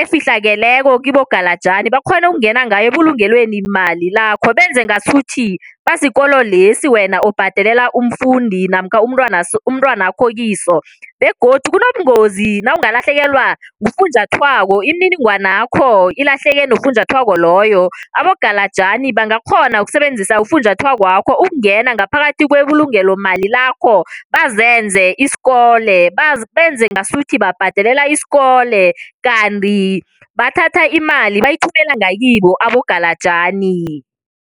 efihlakeleko kibogalajani, bakghona ukungena ngayo ebulungelweni mali lakho benze ngasuthi basikolo lesi wena obhadelela umfundi namkha umntwanakho kiso begodu kunobungozi nawungalahlekelwa ngufunjathwako. Imininingwanakho ilahleke nofunjathwako loyo. Abogalajani bangakghona ukusebenzisa ufunjathwakwakho ukungena ngaphakathi kwebulungelomali lakho bazenze isikole, benze ngasuthi babhadelela isikole kanti bathatha imali bayithumela ngakibo abogalajani.